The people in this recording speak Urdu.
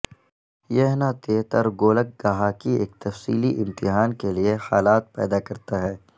یہ نےترگولک گہا کی ایک تفصیلی امتحان کے لئے حالات پیدا کرتا ہے